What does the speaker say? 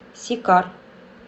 сикар